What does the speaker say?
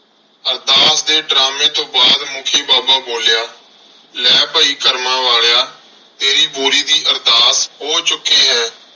ਅਰਦਾਸ ਦੇ ਡਰਾਮੇ ਤੋਂ ਬਾਅਦ ਮੁਖੀ ਬਾਬਾ ਬੋਲਿਆ ਲੈ ਭਾਈ ਕਰਮਾਂ ਵਾਲਿਆ ਤੇਰੀ ਬੋਰੀ ਦੀ ਅਰਦਾਸ ਹੋ ਚੁੱਕੀ ਹੈ।